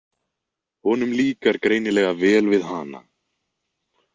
Honum líkar greinilega vel við hana.